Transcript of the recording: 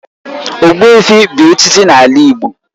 Ogbuefi bu echichi n'ala Igbo